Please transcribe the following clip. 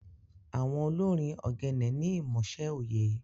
Awon olorin ogene ni imọṣẹ oye.